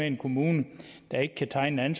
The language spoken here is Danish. en kommune ikke kan tegne en